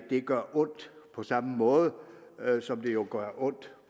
vi gør ondt på samme måde som det jo gør ondt